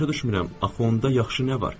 Başa düşmürəm axı onda yaxşı nə var?